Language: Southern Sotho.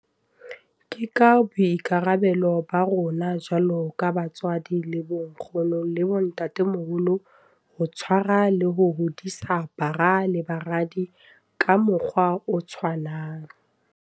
Ke boikarabelo ba rona jwalo ka batswadi le bonkgono le bontatemoholo ho tshwarwa le ho hodisa bara le baradi ka mokgwa o tshwanang.